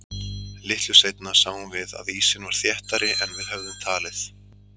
Litlu seinna sáum við að ísinn var þéttari en við höfðum talið.